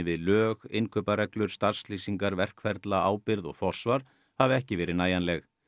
við lög innkaupareglur starfslýsingar verkferla ábyrgð og forsvar hafi ekki verið nægjanleg